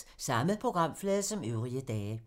Samme programflade som øvrige dage